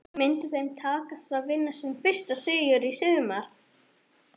Myndi þeim takast að vinna sinn fyrsta sigur í sumar?